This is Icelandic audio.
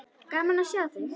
Gaman að sjá þig.